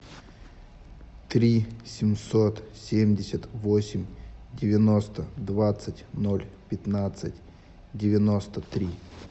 три семьсот семьдесят восемь девяносто двадцать ноль пятнадцать девяносто три